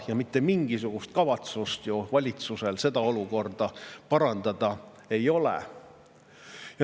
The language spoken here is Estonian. Ja mitte mingisugust kavatsust valitsusel seda olukorda parandada ei ole.